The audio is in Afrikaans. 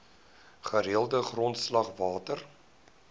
gereelde grondslag water